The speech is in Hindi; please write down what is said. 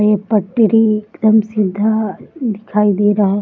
ये पटरी एकदम सीधा दिखाई दे रहा --